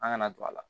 An kana don a la